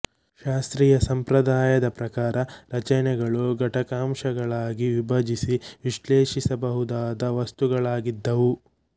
ಶಾಸ್ತ್ರೀಯ ಸಂಪ್ರದಾಯದ ಪ್ರಕಾರ ರಚನೆಗಳು ಘಟಕಾಂಶಗಳಾಗಿ ವಿಭಜಿಸಿ ವಿಶ್ಲೇಷಿಸಬಹುದಾದ ವಸ್ತುಗಳಾಗಿದ್ದವು